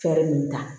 Fɛɛrɛ ninnu ta